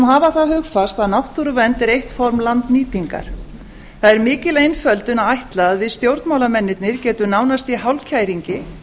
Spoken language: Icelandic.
hafa það hugfast að náttúruvernd er eitt form landnýtingar það er mikil einföldun að ætla að við stjórnmálamennirnir getum nánast í hálfkæringi